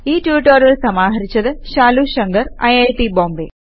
ഈ റ്റുറ്റൊരിയൽ സമാഹരിച്ചത് ശാലു ശങ്കർ ഐറ്റ് ബോംബേ